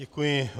Děkuji.